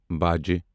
باجہٕ